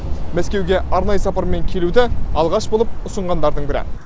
мәскеуге арнайы сапармен келуді алғаш болып ұсынғандардың бірі